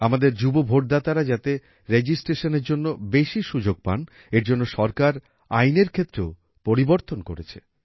আমাদের যুব ভোটদাতারা যাতে রেজিস্ট্রেশনের জন্য বেশি সুযোগ পান এর জন্য সরকার আইনের ক্ষেত্রেও পরিবর্তন করেছে